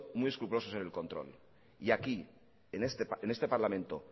muy escrupulosos en el control y aquí en este parlamento